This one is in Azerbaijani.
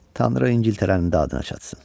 Tanrı İngiltərənin dadına çatsın.